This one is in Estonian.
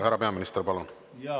Härra peaminister, palun!